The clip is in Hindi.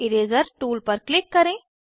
इरेज़र टूल पर क्लिक करें